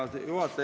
Hea juhataja!